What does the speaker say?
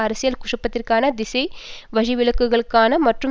அரசியல் குழப்பத்திற்கான திசை வழிவிலகலுக்கான மற்றும்